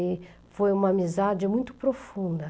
E foi uma amizade muito profunda.